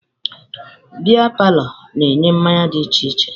Beia palọ na-enye mmanya dị iche iche